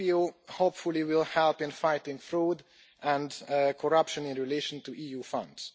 EPPO, hopefully, will help in fighting fraud and corruption in relation to EU Funds.